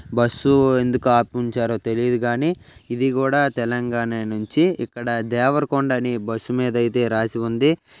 బుసు ఎందుకు ఆపి ఉంచారు తెలీదు కానీ ఇది కూడా తెలగాణ నుంచి ఇక్కడ దేవరకొండ అనే బస్ మీద అయితే రాసి ఉంది.